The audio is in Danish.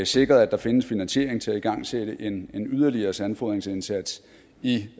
sikret at der findes finansiering til at igangsætte en yderligere sandfodringsindsats i